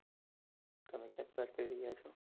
તમે ક્યાંથી વાત કરી રહ્યા છો?